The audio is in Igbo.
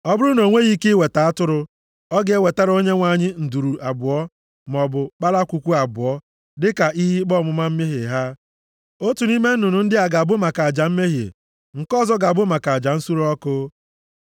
“ ‘Ọ bụrụ na o nweghị ike iweta atụrụ, ọ ga-ewetara Onyenwe anyị nduru abụọ, maọbụ kpalakwukwu abụọ, dịka ihe ikpe ọmụma mmehie ha. Otu nʼime nnụnụ ndị a ga-abụ maka aja mmehie, nke ọzọ ga-abụ maka aja nsure ọkụ.